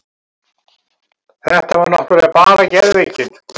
Þetta var náttúrlega bara geðveikin.